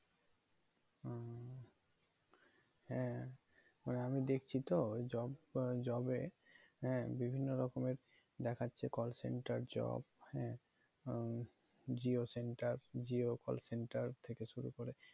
হ্যাঁ আমি দেখছি তো job আহ job এ হ্যাঁ বিভিন্ন রকমের দেখাচ্ছে call center job হ্যা আহ jio centre, jio call center থেকে শুরু করে